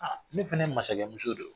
Aa ne fana ye masakɛmuso de ye